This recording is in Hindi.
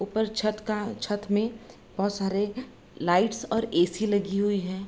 ऊपर छत का छत में बहोत सारे लाइट्स और ए.सी. लगी हुई हैं।